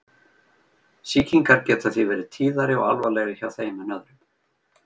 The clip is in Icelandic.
Sýkingar geta því verið tíðari og alvarlegri hjá þeim en öðrum.